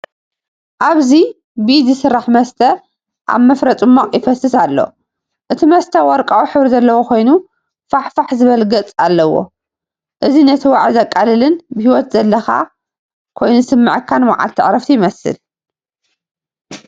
ኣብዚ ብኢድ ዝሰራሕ መስተ ኣብ መፍረ ጽማቝ ይፈስስ ኣሎ። እቲ መስተ ወርቃዊ ሕብሪ ዘለዎ ኮይኑ ፍሕፍሕ ዝብል ገጽ ኣለዎ። እዚ ነቲ ዋዒ ዘቃልልን ብህይወት ዘለካ ኮይኑ ዝስምዓካን መዓልቲ ዕረፍቲ ይመስል።